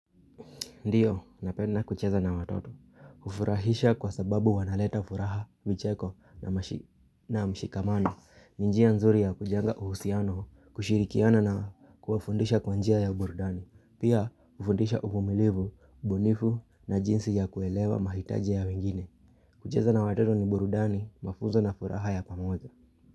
Ndiyo, napenda kucheza na watoto. Hufurahisha kwa sababu wanaleta furaha vicheko na mshikamano. Ni njia nzuri ya kujenga uhusiano kushirikiana na kuwafundisha kwa njia ya burudani. Pia hufundisha uvumilivu, ubunifu na jinsi ya kuelewa mahitaji ya wengine. Kucheza na watoto ni burudani, mafunzo na furaha ya pamoja.